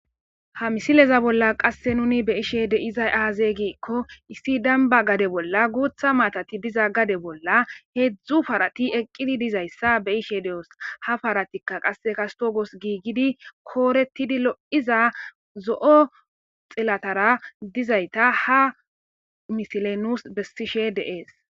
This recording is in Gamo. ha misileza bolla qasse nuni be ishe deizay aaze giikko issi danba gade bolla guutha maatati diza gade bolla heedzdzu parati eqqidi dizayssa be ishe de7os ha paratikka qasse kastogos giigidi kooretidi lo7iza zo7o xellatara dizayta ha misile nuus bessishe deees